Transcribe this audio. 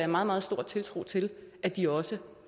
meget meget stor tiltro til at de også